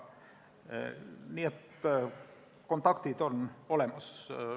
Nii et kontaktid on olemas.